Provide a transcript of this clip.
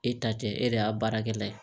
E ta tɛ e de y'a baarakɛla ye